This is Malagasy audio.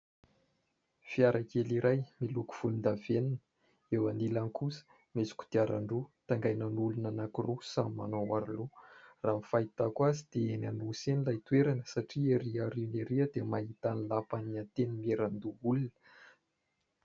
Fiara kely iray miloko volondavenona. Eo anilany kosa misy kodiarandroa taingenan'olona anankiroa samy manao aroloha. Raha ny fahitako azy dia eny Anosy eny ilay toerana satria erỳ aoriana erỳ dia mahita ny lapan'ny Antenimierandoholona.